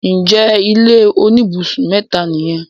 ǹjẹ́ ilé oníbùsùn mẹ́ta nìyẹn?